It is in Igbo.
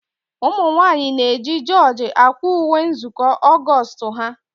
Ụmụnwanyị na eji jorji akwa ùwé nzukọ Augoostu ha.